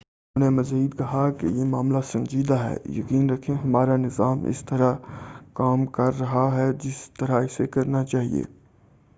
انہوں نے مزید کہا، یہ معاملہ سنجیدہ ہے۔ یقین رکھیں ہمارا نظام اسی طرح کام کر رہا ہے جس طرح اسے کرنا چاہ‏ئے۔